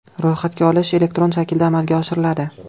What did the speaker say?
Ro‘yxatga olish elektron shaklda amalga oshiriladi.